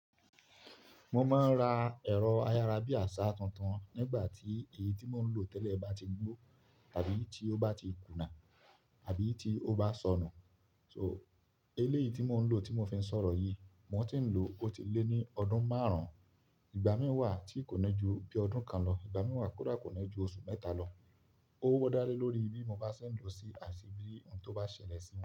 Mo máa ń ra ẹ̀rọ ayárabíaṣá tuntun nígbà tí èyí tí mò ń lò tẹ́lẹ̀ bá ti gbó àbí tí ó bá ti kùnà àbí tí ó bá sọnù. So eléyìí tí mò ń lò tí mo fi ń sọ̀rọ̀ yìí, mo ti ń lò ó ti lé ní ọdún márùn-ún. Ìgbà mìí wà tí kò ni ju bí ọdún kan lọ, ìgbà mìí wà kódà kò ni ju oṣù mẹ́ta lọ. Ó wọ́ dále lórí bí mo bá ṣe ń lò ó sí àti bí ohun tó bá ṣẹlẹ̀ sí i.